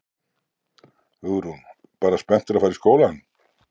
Hugrún: Bara spenntur að fara í skólann?